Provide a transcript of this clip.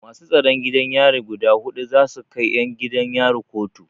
Masu tsaron gidan yari guda huɗu za su kai 'yan gidan yari kotu.